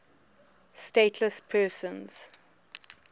stateless persons